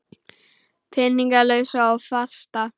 Peninga lausa og fasta?